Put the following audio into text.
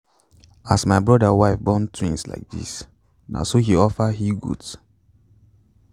as my brother's wife born twins like this na so he offer he-goat.